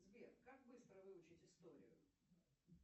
сбер как быстро выучить историю